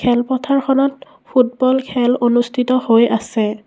খেলপথাৰখনত ফুটবল খেল অনুষ্ঠিত হৈ আছে।